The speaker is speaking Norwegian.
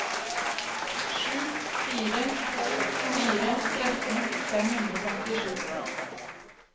sju fire to fire tretten fem hundre og femtisju